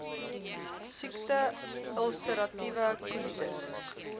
siekte ulseratiewe kolitis